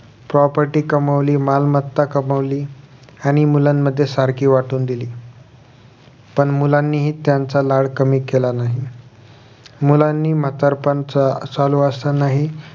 property कामवाली मालमत्ता कमवली आणि मुलांमध्ये सारखी वाटून दिली पण मुलांनीही त्यांचा लाड कमी केला नाही मुलांनी म्हातारपण च चालू असतानाही